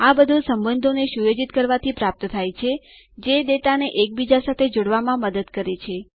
આ બધું સંબંધોને સુયોજિત કરવાથી પ્રાપ્ત થાય છે જે ડેટા ને એકબીજા સાથે જોડવામાં મદદ કરે છે